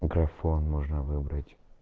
микрофон можно выбрать